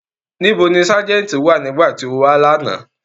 Nibo ni Sájẹ̀ntì wa nigbati o wa lana?